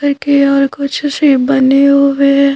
करके और कुछ से बने होवे।